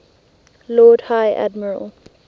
lord high admiral